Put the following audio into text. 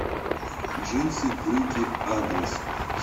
джинсы брюки адрес